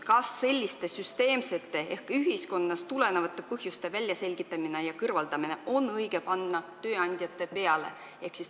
Kas on õige panna selliste süsteemsete ehk ühiskonnast tulenevate põhjuste väljaselgitamise ja kõrvaldamise kohustus tööandjatele?